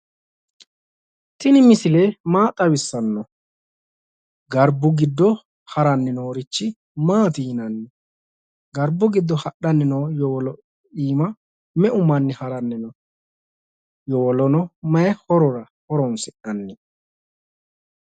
Tini misile maa xawissanno? garbbu giddo haranni noorichi maati yinanni? garbiu giddo hadhanni noo yowolo iimma meu manni haranni no? yowolono mayii horora horonsi'nanni?